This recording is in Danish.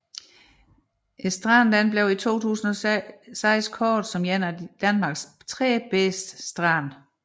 Stranden blev i 2006 kåret som en af Danmarks 3 bedste strande